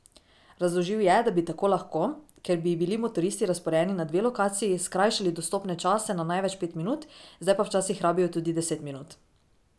Razložil je, da bi tako lahko, ker bi bili motoristi razporejeni na dve lokaciji, skrajšali dostopne čase na največ pet minut, zdaj pa včasih rabijo tudi deset minut.